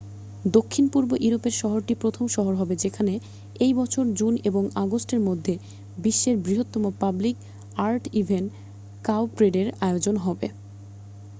দক্ষিণ-পূর্ব ইউরোপের শহরটি প্রথম শহর হবে যেখানে এই বছর জুন এবং আগস্টের মধ্যে বিশ্বের বৃহত্তম পাবলিক আর্ট ইভেন্ট কাউপ্রেডের আয়োজন হবে